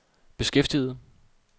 beskæftiget